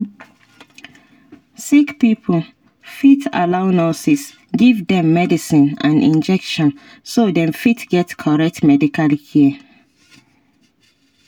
sick pipo fit allow nurses give dem medicine and injection so dem fit get correct medical care